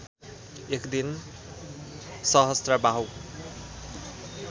एक दिन सहस्त्रबाहु